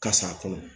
Ka s'a kɔnɔ